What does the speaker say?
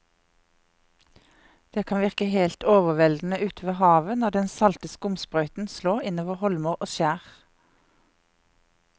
Det kan virke helt overveldende ute ved havet når den salte skumsprøyten slår innover holmer og skjær.